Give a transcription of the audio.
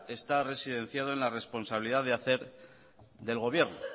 está residenciado en la responsabilidad de hacer del gobierno